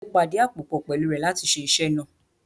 Mo pàdíàpòpọ̀ pẹ̀lú rẹ̀ láti ṣe iṣẹ́ náà